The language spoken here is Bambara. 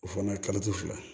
O fana fila